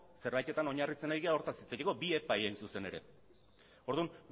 zerbaitetan oinarritzen ari gara hortaz hitz egiteko bi epai hain zuzen ere orduan